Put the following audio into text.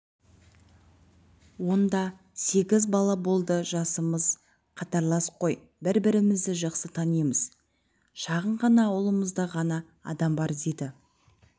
онда сегіз балаболды жасымыз қатарлас қой бір-бірімізді жақсы танимыз шағын ғана ауылымызда ғана адам бар дейді